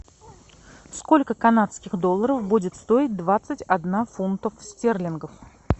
сколько канадских долларов будет стоить двадцать одна фунтов стерлингов